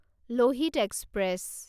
Lohit express